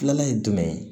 Filanan ye jumɛn ye